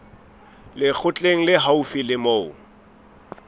lekgotleng le haufi le moo